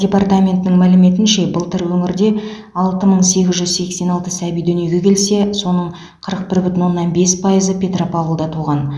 департаментінің мәліметінше былтыр өңірде алты мың сегіз жүз сексен алты сәби дүниеге келсе соның қырық бір бүтін оннан бес пайызы петропавлда туған